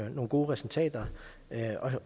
gode resultater